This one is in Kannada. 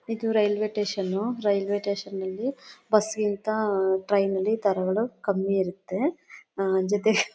ಇದು ರೈಲ್ವೆ ಸ್ಟೇಷನ್ ರೈಲ್ವೆ ಸ್ಟೇಷನ್ ಅಲ್ಲಿ ಬಸ್ ಗಿಂತ ಟ್ರೈನ್ ಅಲ್ಲಿ ದರಗಳು ಕಮ್ಮಿ ಇರುತ್ತೆ ಜೊತೆಗೆ--